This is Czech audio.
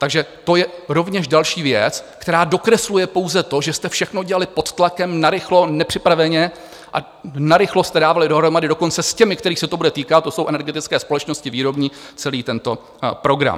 Takže to je rovněž další věc, která dokresluje pouze to, že jste všechno dělali pod tlakem, narychlo, nepřipraveně a narychlo jste dávali dohromady dokonce s těmi, kterých se to bude týkat, to jsou energetické společnosti, výrobní, celý tento program.